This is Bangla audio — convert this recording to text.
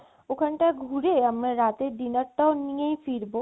ওখান তা ঘুরে আমরা রাতে dinner তা নিয়েই ফিরবো